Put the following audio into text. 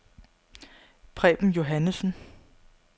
Preben Johannessen